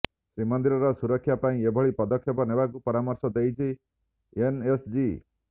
ଶ୍ରୀମନ୍ଦିରର ସୁରକ୍ଷା ପାଇଁ ଏଭଳି ପଦକ୍ଷେପ ନେବାକୁ ପରାମର୍ଶ ଦେଇଛି ଏନଏସଜି